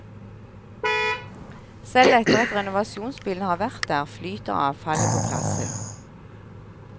Selv etter at renovasjonsbilen har vært der, flyter avfallet på plassen.